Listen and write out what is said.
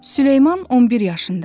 Süleyman 11 yaşında idi.